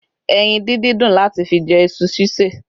Ẹyin díndín dùn láti fi jẹ iṣu ṣíṣeè